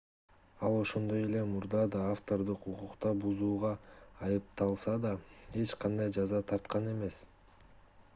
ал ошондой эле мурда да автордук укукту бузууга айыпталса да эч кандай жаза тарткан эмес